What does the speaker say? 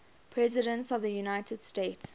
presidents of the united states